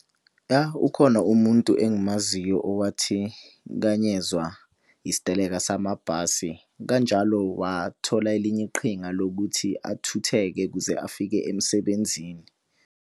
Ya ukhona umuntu engimaziyo owathikanyezwa isiteleka samabhasi. Kanjalo wathola elinye iqhinga lokuthi athutheke ukuze afike emsebenzini.